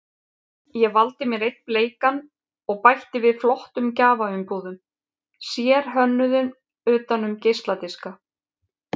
Ég valdi mér einn bleikan og bætti við flottum gjafaumbúðum, sérhönnuðum utan um geisladiska.